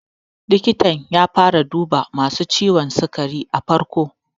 Likitar ta fara duba masu ciwon sigar a farko.